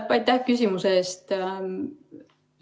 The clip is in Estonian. Aitäh küsimuse eest!